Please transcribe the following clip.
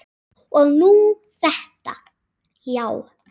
Og nú þetta, já.